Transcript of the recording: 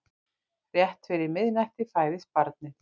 Rétt fyrir miðnætti fæðist barnið.